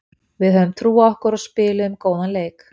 Við höfðum trú á okkur og spiluðum góðan leik.